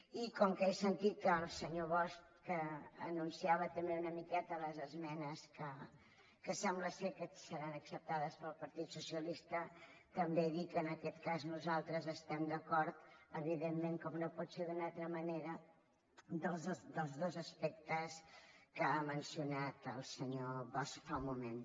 i com que he sentit que el senyor bosch anunciava també una miqueta les esmenes que sembla que seran acceptades pel partit socialista també dir que en aquest cas nosaltres estem d’acord evidentment com no pot ser d’una altra manera amb els dos aspectes que ha mencionat el senyor bosch fa un moment